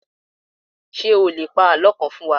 Ṣé o lè pa àlọ́ kan fún wa?